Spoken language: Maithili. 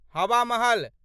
हवा महल